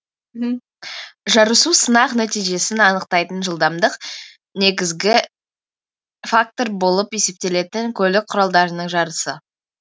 жарысу сынақ нәтижесін анықтайтын жылдамдық негізгі фактор болып есептелетін көлік құралдарының жарысы